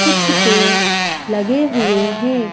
कुछ पेड़ लगे हुए हैं।